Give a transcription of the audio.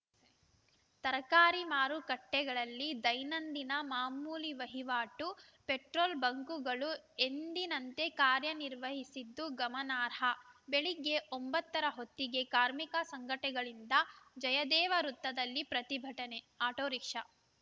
ತರಕಾರಿ ಮಾರುಕಟ್ಟೆಗಳಲ್ಲಿ ದೈನಂದಿನ ಮಾಮೂಲಿ ವಹಿವಾಟು ಪೆಟ್ರೋಲ್‌ ಬಂಕ್‌ಗಳು ಎಂದಿನಂತೆ ಕಾರ್ಯ ನಿರ್ವಹಿಸಿದ್ದು ಗಮನಾರ್ಹ ಬೆಳಗ್ಗೆ ಒಂಬತ್ತರ ಹೊತ್ತಿಗೆ ಕಾರ್ಮಿಕ ಸಂಘಟೆಗಳಿಂದ ಜಯದೇವ ವೃತ್ತದಲ್ಲಿ ಪ್ರತಿಭಟನೆ ಆಟೋ ರಿಕ್ಷಾ